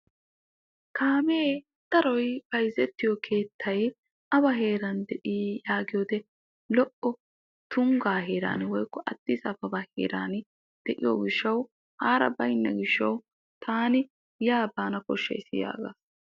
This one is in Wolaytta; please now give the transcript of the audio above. "Kaamee daroy bayzettiyoo keettay awa heeran de"i?" yaagiyoo wode lo"o tunggaa heeran woykko aaddis ababa heeran de"iyoo gishshaw haara baynna gishshaw taani yaa baanaw koshshays yaagas.